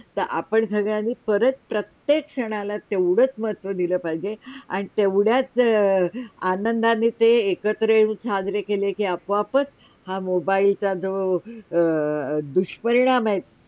हा आपण सगळ्यांनी प्रत्येक सणाला तेवडेच महत्व दिलं पाहिजे आणि तेवड्याच आनंदाणी ते एकत्र येऊन साजरे केले के आपो - आपच हा मोबाईलचा जो जा दूषपरिणाम आहेत.